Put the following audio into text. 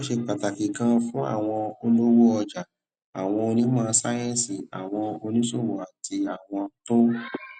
ó ṣe pàtàkì ganan fún àwọn olówó ọjà àwọn onímò sáyéǹsì àwọn oníṣòwò àti àwọn tó